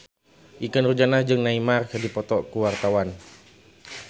Ikke Nurjanah jeung Neymar keur dipoto ku wartawan